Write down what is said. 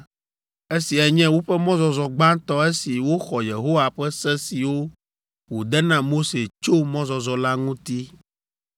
Esiae nye woƒe mɔzɔzɔ gbãtɔ esi woxɔ Yehowa ƒe se siwo wòde na Mose tso mɔzɔzɔ la ŋuti.